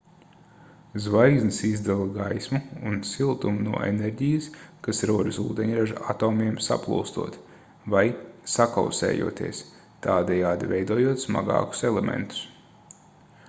zvaigznes izdala gaismu un siltumu no enerģijas kas rodas ūdeņraža atomiem saplūstot vai sakausējoties tādējādi veidojot smagākus elementus